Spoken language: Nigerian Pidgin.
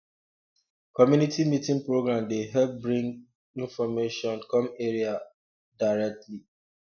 community meeting program dey help bring um information come area um directly